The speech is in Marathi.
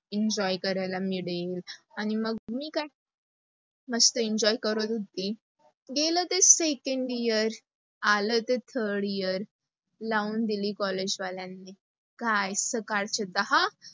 enjoy करायला मिळेल, आणि मग मी काय, मस्त enjoy करत होती. गेल ते second year, आला ते third year लावून दिली collage वाल्यांनी काय सकाळचे दहा